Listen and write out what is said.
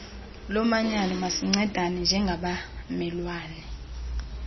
lomanyano masincedane njengabamelwane